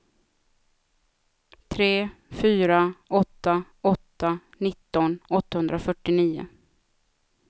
tre fyra åtta åtta nitton åttahundrafyrtionio